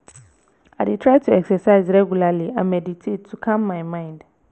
i dey try to exercise regularly and meditate to calm my mind.